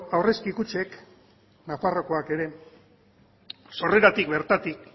aurrezki kutxek nafarroakoak ere sorreratik bertatik